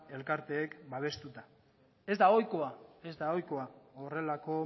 elkarteek babestuta ez da ohikoa horrelako